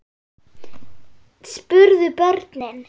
spurðu börnin.